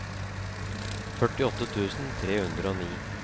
førtiåtte tusen tre hundre og ni